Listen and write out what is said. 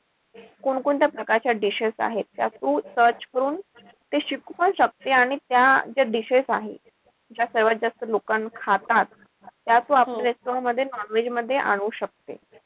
कोणकोणत्या प्रकारच्या dishes आहेत त्या तू search करून ते शिकू पण शकते. आणि त्या ज्या dishes आहे. ज्या सर्वात जास्त लोकं खातात. त्या तू आपल्या restaurant मध्ये non-veg मध्ये आणू शकते.